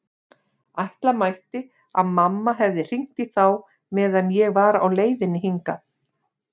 Ætla mætti að mamma hefði hringt í þá meðan ég var á leiðinni hingað.